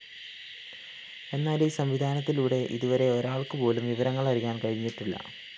എന്നാല്‍ ഈ സംവിധാനത്തിലൂടെ ഇതുവരെ ഒരാള്‍ക്കുപോലും വിവരങ്ങളറിയാന്‍ കഴിഞ്ഞിട്ടില്ല